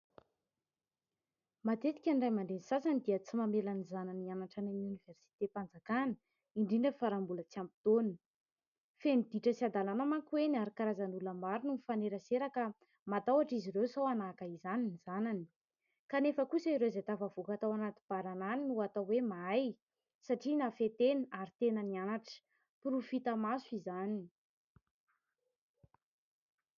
Matetika ny ray aman-dreny sasany dia tsy mamela ny zanany hianatra amin'ny oniversitem-panjakana, indrindra fa raha mbola tsy ampy taona. Feno ditra sy hadalana manko eny ary karazan'olona maro no mifanerasera ka matahotra izy ireo sao anahaka izany ny zanany. Kanefa kosa ireo izay tafavoaka tao anaty baranahy no atao hoe mahay satria nahafehy tena ary tena nianatra. Porofo hita maso izany.